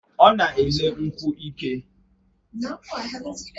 O na ele nkwu ike